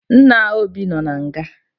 Nne Obi nọ na nga